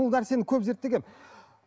бұл нәрсені көп зерттегенмін